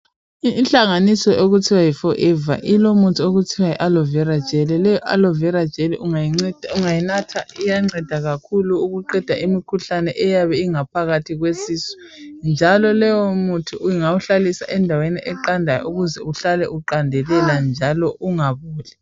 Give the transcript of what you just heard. Inhlanganiso okuthiwa yiforever ilomuthi okuthiwa yialoe vera gel. Leyi aloe vera gel ungayinatha iyanceda kakhulu ukuqeda imikhuhlane eyabe iphakathi kwesisu njalo lowomuthi ungawuhlalaisa endaweni eqandelelayo ukuze uhlale uqandelela njalo ungaboli.